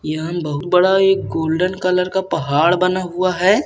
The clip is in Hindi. यहांन गोल्डन कलर का पहाड़ बना हुआ है।